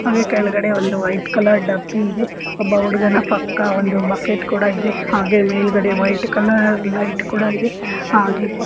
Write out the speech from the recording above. ಹಾಗೆ ಕೆಳಗಡೆ ಒಂದು ವೈಟ್ ಕಲ್ಲರ್ ಡಬ್ಬಿಯಿದೆ ಒಬ್ಬ ಹುಡುಗನ ಪಕ್ಕ ಒಂದು ಬಕೆಟ್ ಕೂಡ ಇದೆ ಹಾಗೆ ಮೇಲ್ಗಡೆ ವೈಟ್ ಕಲರ್ ಲೈಟ್ ಕೂಡ ಇದೆ ಹಾಗೆ ಬ ___